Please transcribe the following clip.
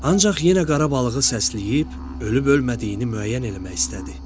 Ancaq yenə qara balığı səsləyib, ölüb-ölmədiyini müəyyən eləmək istədi.